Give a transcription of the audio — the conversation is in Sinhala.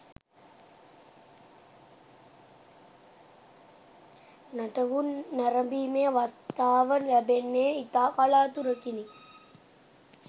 නටඹුන් නැරඹීමේ අවස්ථාව ලැබෙන්නේ ඉතා කලාතුරකිනි.